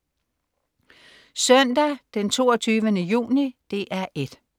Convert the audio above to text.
Søndag den 22. juni - DR 1: